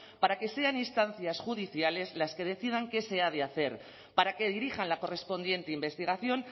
para que sean instancias judiciales las que decidan qué se ha de hacer para que dirijan la correspondiente investigación